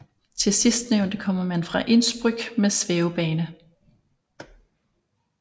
Til sistnævnte kommer man fra Innsbruck med svævebane